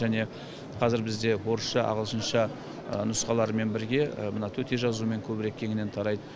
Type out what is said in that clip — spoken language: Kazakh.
және қазір бізде орысша ағылшынша нұсқалармен бірге мына төте жазумен көбірек кеңінен тарайды